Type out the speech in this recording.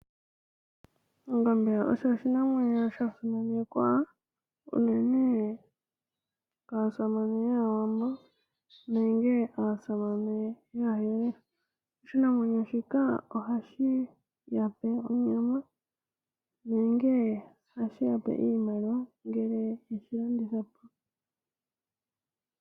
Ongombe osho oshinamwenyo shono shasimanekwa komuhoko yaaWambo nenge aasamane, oshinamwenyo ya pe onyama nenge ohashi yape iimaliwa ngele yeshi landithapo.